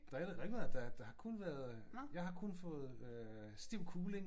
Der er ikke noget der er ikke noget af det der jeg har kun fået øh stiv kuling